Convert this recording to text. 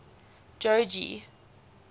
jogee